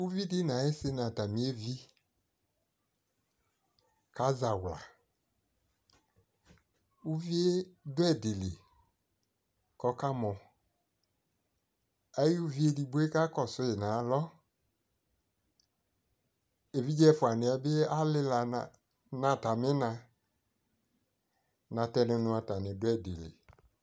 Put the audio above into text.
uvi di no ayi si no atami evi ka zawla uvie do edi li ko ɔka mɔ ayi uvi edigboe ka kɔsu yi no alo, evidze ɛfua niɛ ali la no atame na, natɛno no atane do ɛdi li